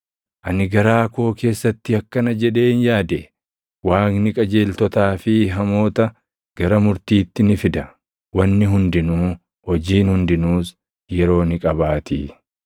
Ani garaa koo keessatti akkana jedheen yaade; “Waaqni qajeeltotaa fi hamoota, gara murtiitti ni fida; wanni hundinuu, hojiin hundinuus yeroo ni qabaatii.”